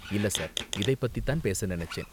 இல்ல, சார், இதை பத்தி தான் பேச நினைச்சேன்.